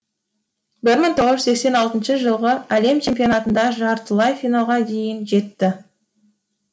бір мың тоғыз жүз сексен алтыншы жылғы әлем чемпионатында жартылай финалға дейін жетті